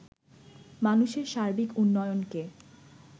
মানুষের সার্বিক উন্নয়নকে